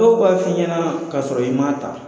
Dɔw b'a f'i ɲɛna k'a sɔrɔ i ma ta.